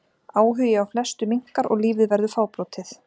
Áhugi á flestu minnkar og lífið verður fábrotið.